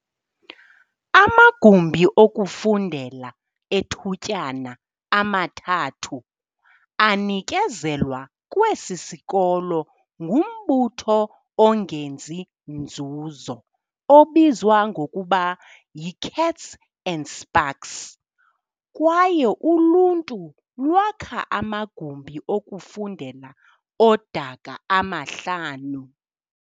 Amagumbi okufundela ethutyana amathathu anikezelwa kwesi sikolo ngumbutho ongenzi nzuzo obizwa ngokuba yi-Kats and Spaks, kwaye uluntu lwakha amagumbi okufundela odaka amahlanu.